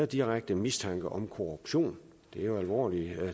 direkte mistanke om korruption det er jo alvorlige